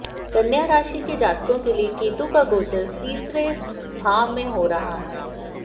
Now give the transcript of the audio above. कन्या राशि के जातकोे के लिए केतु का गोेचर तीसरे भाव में हो रहा है